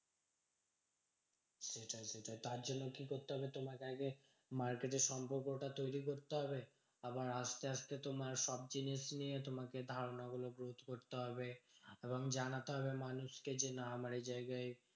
সেটাই তার জন্য কি করতে হবে? তোমাকে আগে market এ সম্পর্কটা তৈরী করতে হবে। আবার আসতে আসতে তোমার সব জিনিস নিয়ে তোমাকে ধারণা গুলো growth করতে হবে এবং জানাতে হবে মানুষকে যে না আমার এই জায়গায়